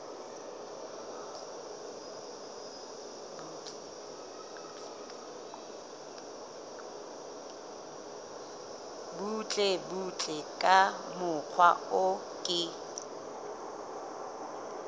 butlebutle ka mokgwa o ke